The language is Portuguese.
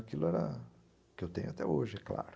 Aquilo era o que eu tenho até hoje, é claro.